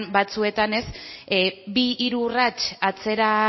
batzuetan bi hiru urrats atzera